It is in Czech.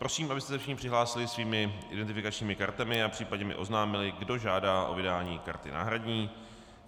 Prosím, abyste se všichni přihlásili svými identifikačními kartami a případně mi oznámili, kdo žádá o vydání karty náhradní.